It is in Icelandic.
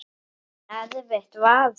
En erfitt var það.